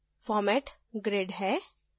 format grid है